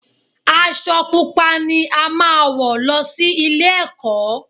Aṣọ Pupa ni a máa wọ̀ lọ sí ilé-ẹ̀kọ́